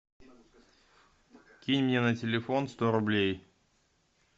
кинь мне на телефон сто рублей